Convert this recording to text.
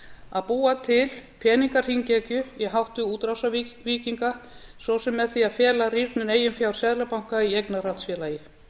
að búa til peningahringekju að hætti útrásarvíkinga svo sem með því að fela rýrnun eigin fjár seðlabanka í eignarhaldsfélagið